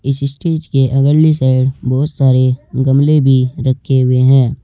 इस स्टेज के अगली साइड बहोत सारे गमले भी रखे हुए हैं।